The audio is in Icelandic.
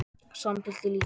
Samtali lýkur.